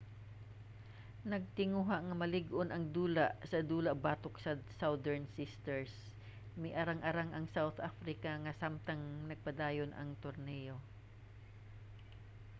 nagtinguha nga malig-on nga dula sa dula batok sa southern sisters miarang-arang ang south africa nga samtang nagpadayon ang torneyo